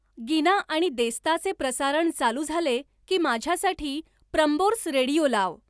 गिना आणि देस्ताचे प्रसारण चालू झाले की माझ्यासाठी प्रम्बोर्स रेडियो लाव